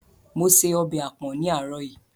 Mo se ọbẹ̀ àpọ̀n ní àárọ̀ yìí.